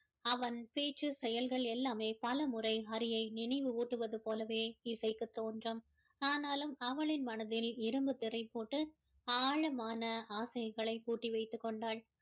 அவன் பேச்சு செயல்கள் எல்லாமே பலமுறை ஹரியை நினைவு ஊட்டுவது போலவே இசைக்கு தோன்றும் ஆனாலும் அவளின் மனதில் இரும்புத் திரை போட்டு ஆழமான ஆசைகளை பூட்டி வைத்துக் கொண்டாள்